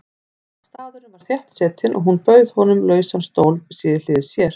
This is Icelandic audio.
Staðurinn var þéttsetinn og hún bauð honum lausan stól við hlið sér.